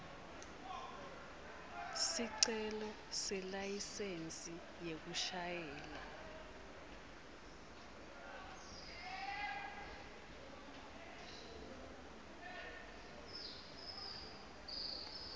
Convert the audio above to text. sicelo selayisensi yekushayela